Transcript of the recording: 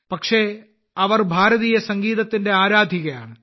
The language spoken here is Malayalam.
പക്ഷേ അവർ ഭാരതീയ സംഗീതത്തിന്റെ ആരാധികയാണ്